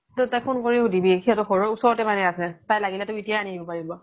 তই তাইক phone শুধিবি সিহতৰ ঘৰৰ ওচৰতে মানে আছে তাই লাগিলে তোক এতিয়াই আনি দিব পাৰিব